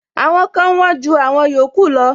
Àwọn kan wón ju àwọn yòókù lọ.